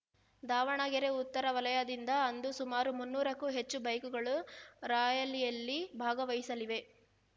ದಾವಣಗೆರೆ ಉತ್ತರ ವಲಯದಿಂದ ಅಂದು ಸುಮಾರು ಮುನ್ನೂರಕ್ಕೂ ಹೆಚ್ಚು ಬೈಕ್‌ಗಳು ರಾಯಾಲಿಯಲ್ಲಿ ಭಾಗವಹಿಸಲಿವೆ